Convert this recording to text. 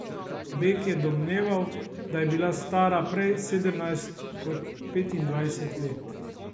Beg je domneval, da je bila stara prej sedemnajst kot petindvajset let.